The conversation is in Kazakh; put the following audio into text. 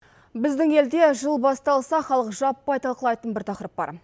біздің елде жыл басталса халық жаппай талқылайтын бір тақырып бар